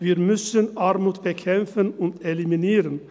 Wir müssen Armut bekämpfen und eliminieren.